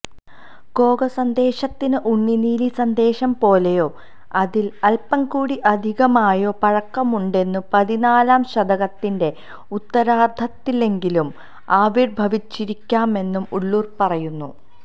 കോകസന്ദേശത്തിന് ഉണ്ണുനീലിസന്ദേശംപോലെയോ അതിൽ അല്പംകൂടി അധികമായോ പഴക്കമുണ്ടെന്നും പതിന്നാലാം ശതകത്തിന്റെ ഉത്തരാർദ്ധത്തിലെങ്കിലും ആവിർഭവിച്ചിരിക്കാമെന്നും ഉള്ളൂർ പറയുന്നു